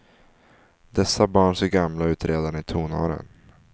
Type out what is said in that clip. Dessa barn ser gamla ut redan i tonåren.